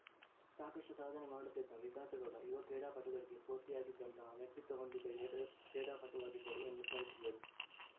ಸಾಕಷ್ಟುಸಾಧನೆ ಮಾಡುತ್ತಿದ್ದಂತ ವಿಕಾಸಗೌಡ ಯುವ ಕ್ರೀಡಾಪಟುಗಳಿಗೆ ಸ್ಪೂರ್ತಿಯಾಗಿದ್ದಂತಹ ವ್ಯಕ್ತಿತ್ವ ಹೊಂದಿದ್ದ ಯುವ ಕ್ರೀಡಾಪಟುವಾಗಿದ್ದರು ಎಂದು ಸ್ಮರಿಸಿದರು